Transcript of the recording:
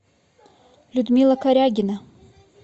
людмила корягина